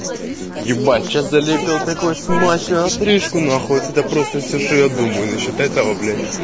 ебать сейчас залепил такую смачную отрыжку нахуй от это просто всё что я думаю насчёт этого блядь